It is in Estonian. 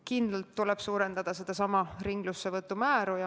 Kindlasti tuleb suurendada ringlussevõttu.